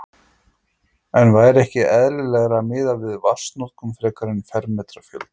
En væri ekki eðlilegra að miða við vatnsnotkun frekar en fermetrafjölda?